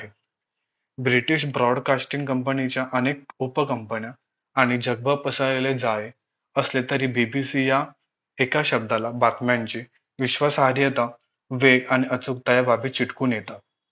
british broad casting company च्या अनेक उप company न्या आणि जगभर पसरलेले जाळे असले तरी BBC या एका शब्दाला बातम्यांची विश्वासाहार्यता वेग आणि अचूकता या बाबी चिटकून येतात